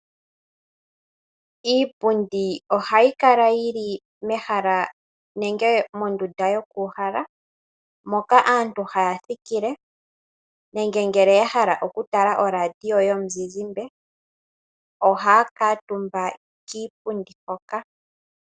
Iipundi ohayi kala yi li mehala nenge mondunda yokuuhala, moka aantu haya thikile nenge ngele ya hala okutala oradio yomuzizimba ohaya kuutumba kiipundi hoka.